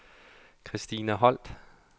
Kristina Holt